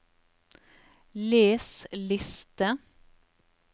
les liste